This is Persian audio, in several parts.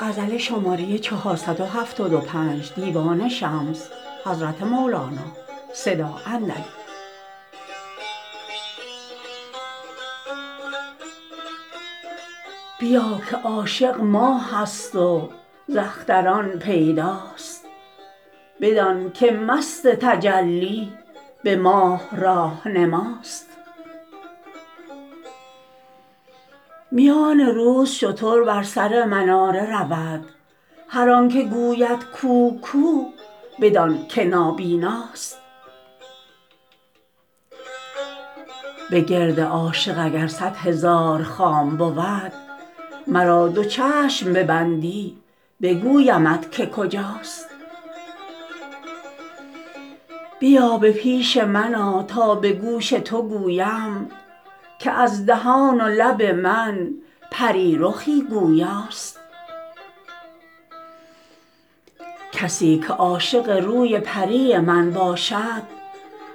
بیا که عاشق ماهست وز اختران پیداست بدانک مست تجلی به ماه راه نماست میان روز شتر بر سر مناره رود هر آنک گوید کو کو بدانک نابیناست بگرد عاشق اگر صد هزار خام بود مرا دو چشم ببندی بگویمت که کجاست بیا به پیش من آ تا به گوش تو گویم که از دهان و لب من پری رخی گویاست کسی که عاشق روی پری من باشد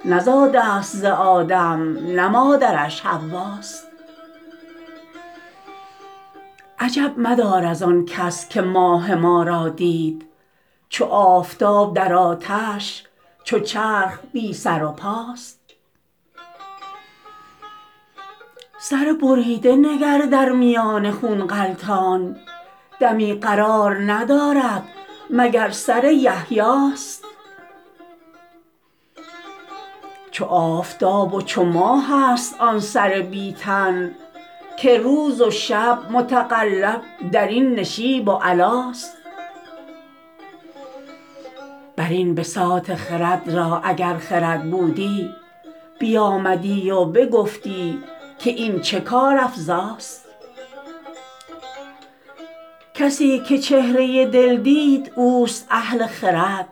نزاده است ز آدم نه مادرش حواست عجب مدار از آن کس که ماه ما را دید چو آفتاب در آتش چو چرخ بی سر و پاست سر بریده نگر در میان خون غلطان دمی قرار ندارد مگر سر یحیاست او آفتاب و چو ماهست آن سر بی تن که روز و شب متقلب در این نشیب و علاست بر این بساط خرد را اگر خرد بودی بیامدی و بگفتی که این چه کارافزاست کسی که چهره دل دید اوست اهل خرد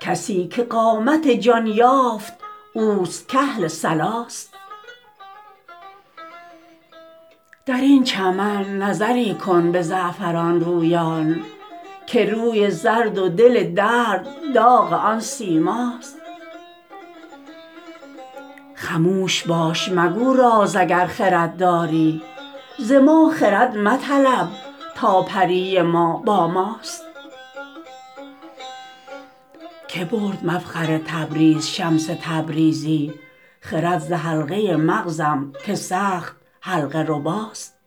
کسی که قامت جان یافت اوست کاهل صلاست در این چمن نظری کن به زعفران رویان که روی زرد و دل درد داغ آن سیماست خموش باش مگو راز اگر خرد داری ز ما خرد مطلب تا پری ما با ماست که برد مفخر تبریز شمس تبریزی خرد ز حلقه مغزم که سخت حلقه رباست